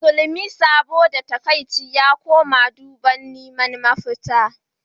Musulmi saboda takaici ya koma duba domin neman mafita.